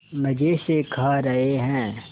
मज़े से खा रहे हैं